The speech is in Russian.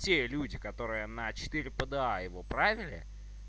те люди которые на четыре п д а его провели